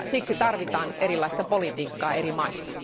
Siksi tarvitaan erilaista politiikkaa eri maissa.